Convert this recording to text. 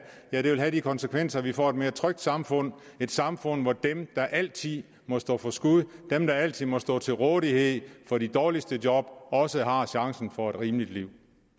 ja det vil have de konsekvenser at vi vil få et mere trygt samfund et samfund hvor de der altid må stå for skud og de der altid må stå til rådighed for de dårligste job også har chancen for et rimeligt liv